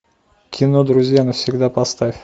кино друзья навсегда поставь